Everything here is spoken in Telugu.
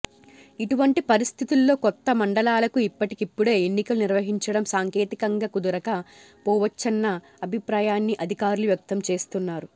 ఇటువంటి పరిస్థితుల్లో కొత్త మండలాలకు ఇప్పటికిప్పుడే ఎన్నికలు నిర్వహించడం సాంకేతికంగా కుదరక పోవచ్చన్న అభిప్రాయాన్ని అధి కారులు వ్యక్తం చేస్తున్నారు